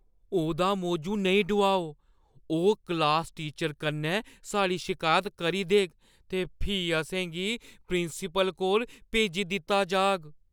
ओह्‌दा मौजू नेईं डोआओ। ओह् क्लास टीचर कन्नै साढ़ी शिकायत करी देग ते फ्ही असें गी प्रिंसिपल कोल भेजी दित्ता जाह्‌ग।